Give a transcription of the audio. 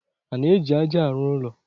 A na-eji ájá arụ ụlọ.